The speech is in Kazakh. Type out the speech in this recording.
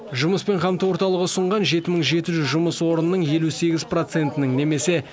жұмыспен қамту орталығы ұсынған жеті мың жеті жүз жұмыс орнының елу сегіз процентінің немесе